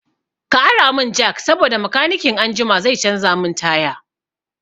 Ka ara mun jak saboda makanikin anjima zai canza min taya